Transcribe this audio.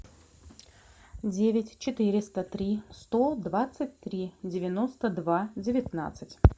девять четыреста три сто двадцать три девяносто два девятнадцать